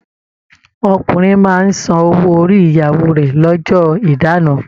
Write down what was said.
Ọkùnrin máa n sàn owó orí ìyàwó rẹ l'ọ́jọ́ ìdáná.